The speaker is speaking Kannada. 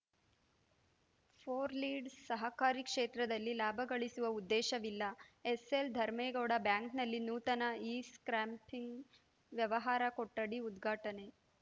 ಫೋರ್ ಲೀಡ್‌ ಸಹಕಾರಿ ಕ್ಷೇತ್ರದಲ್ಲಿ ಲಾಭಗಳಿಸುವ ಉದ್ದೇಶವಿಲ್ಲ ಎಸ್‌ಎಲ್‌ ಧರ್ಮೆಗೌಡ ಬ್ಯಾಂಕ್‌ನಲ್ಲಿ ನೂತನ ಇಸ್ಟ್ಯಾಂಪಿಂಗ್‌ ವ್ಯವಹಾರ ಕೊಠಡಿ ಉದ್ಘಾಟನೆ